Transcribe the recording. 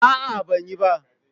A'a, ban yi ba.